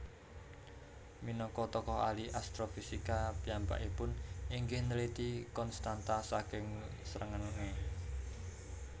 Minangka tokoh ahli astrofisika piyambakipun inggih nliti konstanta saking srengenge